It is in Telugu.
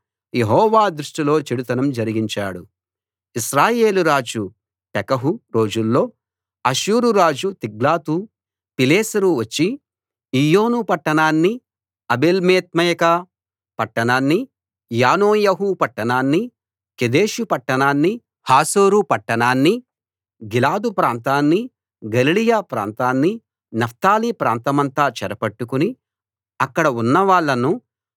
ఇశ్రాయేలు రాజు పెకహు రోజుల్లో అష్షూరు రాజు తిగ్లతు పిలేసెరు వచ్చి ఈయోను పట్టణాన్ని ఆబేల్బేత్మయకా పట్టణాన్ని యానోయహు పట్టణాన్ని కెదెషు పట్టణాన్ని హాసోరు పట్టణాన్ని గిలాదు ప్రాంతాన్ని గలిలయ ప్రాంతాన్ని నఫ్తాలీ ప్రాంతమంతా చెరపట్టుకుని అక్కడ ఉన్నవాళ్ళను అష్షూరు దేశానికి బందీలుగా తీసుకు పోయాడు